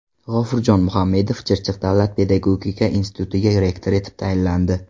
G‘ofurjon Muhamedov Chirchiq davlat pedagogika institutiga rektor etib tayinlandi.